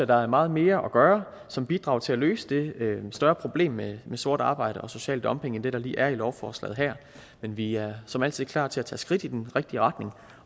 der er meget mere at gøre som bidrag til at løse det større problem med sort arbejde og social dumping end det der lige er i lovforslaget men vi er som altid klar til at tage skridt i den rigtige retning